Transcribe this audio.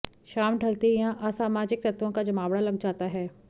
शाम ढलते ही यहां असामाजिक तत्वों का जमावड़ा लग जाता है